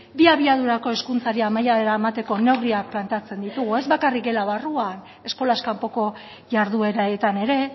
bi abiadurako hezkuntzari amaiera emateko neurriak planteatzen ditugu ez bakarrik gela barruan eskolaz kanpoko jardueretan ere